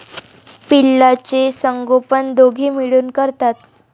पिल्लाचे संगोपन दोघे मिळून करतात.